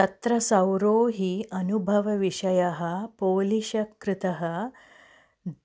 तत्र सौरो हि अनुभवविषयः पोलिशकृतः